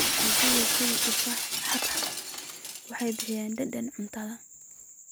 Dalagyada sida tufaaxa iyo xabxabada waxay bixiyaan dhadhan cuntada.